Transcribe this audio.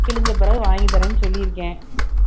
கிழிஞ்ச பிறகு வாங்கித் தர்றேன்னு சொல்லியிருக்கேன்